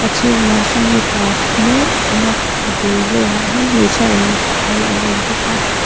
chhungah sawn mipa thu mek a awm a a bul velah hian hmeichhia leh mipa kal an awm bawk a.